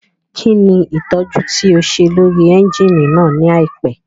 Kí ni ìtọ́jú tí o ṣe lórí ẹ́ńjíìnì náà ní àìpẹ́?